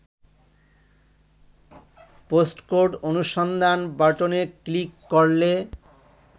postcode অনুসন্ধান বাটনে click করলে